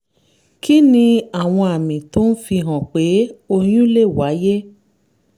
kí ni àwọn àmì tó ń fihàn pé oyún lè wáyé?